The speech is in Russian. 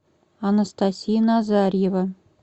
анастасия назарьева